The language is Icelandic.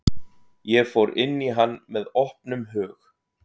Ég fór inn í hann með opnum hug.